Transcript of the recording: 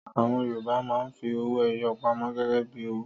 Àwọn Yorùbá máa ń fi owó-ẹyọ pamọ́ gẹ́gẹ́ bí owó.